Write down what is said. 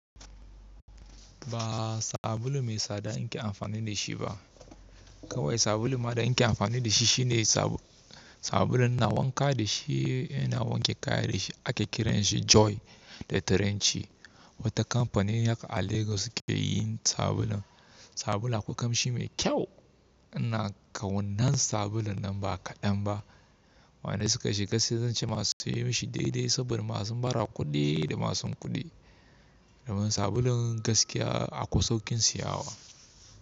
Ba sabulu mai tsada in ke amfani da shi ba. Kawai sabulun ma da in ke amfani da shi shine sabulun ina wanka da shi, ina wanke kaya da shi ake kiran shi Joy da turanci. Wata kamfanin haka a Lagos suke yin sabulun. Sabulu akwai kamshi mai kyau, ina ƙau nan sabulun nan ba kaɗan ba. Wanda suka shiga sai zan ce masu sai mishi daidai saboda masu bara kuɗi da masu kuɗi. Domin sabulun gaskiya akwai sauƙin siyawa.